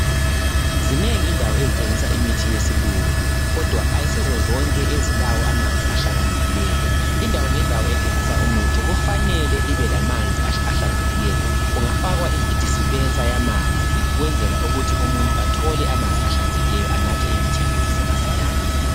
Zinengi indawo ezithengisa imithi yesilungu, kodwa kayisizo zonke ezilawo amanzi ahlakaniphileyo. Indawo ngendawo ethengisa imithi kumele ibelamanzi ahlanzekileyo. Kungafakwa idispenser yamanzi. Ukwenzela ukuthi umuntu ngomuntu athole amanzi ahlanzekiieyo. Ukwenzela ukuthi anathe imithi yakhe kusasemasinyane.